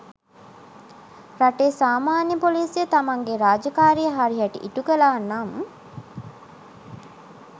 රටේ සාමාන්‍ය පොලිසිය තමන්ගේ රාජකාරිය හරි හැටි ඉටු කළා නම්